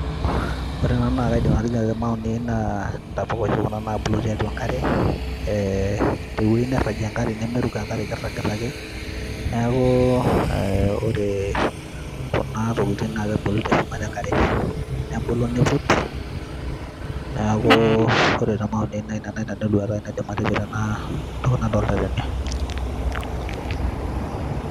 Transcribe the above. Ore ena naa kaidim atejo te maoni aai naa intepuka oshi naabulu titua enkare ee tewueji nairagie enkare nemeruko enkare kirragita ake neeku ee, ore kuna tokitin naa kebulu tenchumata enkare nebulu niiput, neeku ore te [csmaoni aai naa ina enduata aai naidim atejo tena toki nadolita tene.